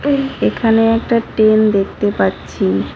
এখানে একটা টেন দেখতে পাচ্ছি।